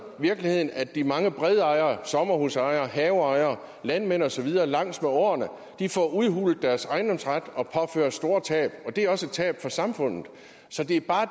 virkeligheden at de mange bredejere sommerhusejere haveejere landmænd og så videre langs med åerne får udhulet deres ejendomsret og påføres store tab og det er også et tab for samfundet så det vi bare